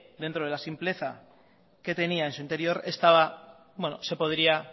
dentro de la simpleza que tenía en su interior esta se podría